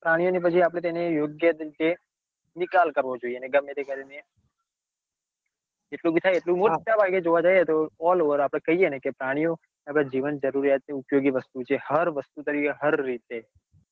પ્રાણીઓ ને પછી આપડે તેને યોગ્ય તરીકે નિકાલ કરવો જોઈએ ને ગમેતે કરીને જેટલું ભી થાય મોટ્ટા જઈએ તો all over આપડે કાઈએ ને પ્રાણીઓ આપડા જીવન જરૂરિયાત ની ઉપયોગી વસ્તુ છે હર વસ્તુ તરીકે હર રીતે.